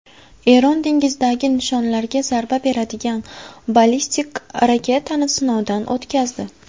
Eron dengizdagi nishonlarga zarba beradigan ballistik raketani sinovdan o‘tkazdi.